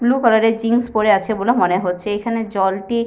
Blue colour -এর jeans পরে আছে বলে মনে হচ্ছে। এখানের জলটি